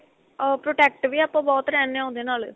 ah protect ਵੀ ਆਪਾਂ ਬਹੁਤ ਰਹਿਨੇ ਆਂ ਉਹਦੇ ਨਾਲ